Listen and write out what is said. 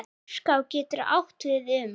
Myrká getur átt við um